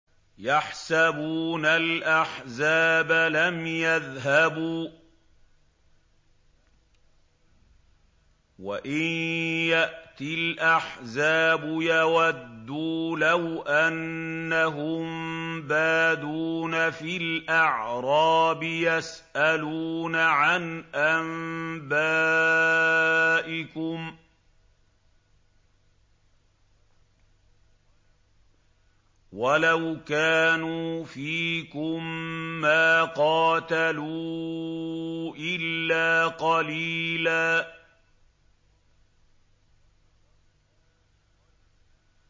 يَحْسَبُونَ الْأَحْزَابَ لَمْ يَذْهَبُوا ۖ وَإِن يَأْتِ الْأَحْزَابُ يَوَدُّوا لَوْ أَنَّهُم بَادُونَ فِي الْأَعْرَابِ يَسْأَلُونَ عَنْ أَنبَائِكُمْ ۖ وَلَوْ كَانُوا فِيكُم مَّا قَاتَلُوا إِلَّا قَلِيلًا